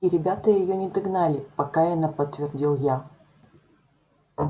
и ребята её не догнали покаянно подтвердил я